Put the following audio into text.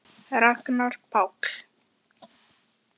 Ragnar Páll.